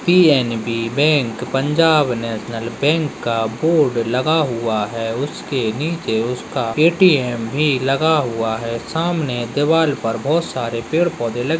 PNB. Bank Punjab national bank का बोर्ड लगा हुआ है उसके नीचे उसका ए.टी.एम. भी लगा हुआ है सामने दीवाल पर बहौत सारे पेड़-पौधे लगे --